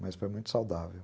Mas foi muito saudável.